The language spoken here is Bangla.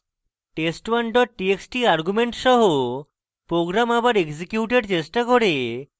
test1 txt argument সহ program আবার এক্সিকিউটের চেষ্টা করে